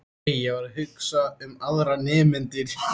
Nei, ég var ekki að hugsa um aðra nemendur.